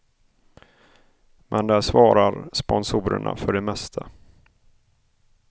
Men där svarar sponsorerna för det mesta.